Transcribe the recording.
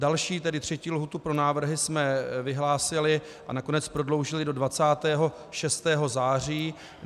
Další, tedy třetí lhůtu pro návrhy jsme vyhlásili a nakonec prodloužili do 26. září.